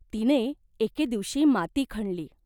तिने एके दिवशी माती खणली.